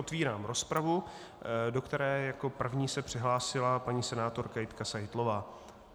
Otvírám rozpravu, do které jako první se přihlásila paní senátorka Jitka Seitlová.